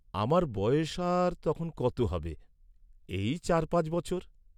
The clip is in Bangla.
আমার বয়স আর তখন কত হবে, এই চার পাঁচ বছর।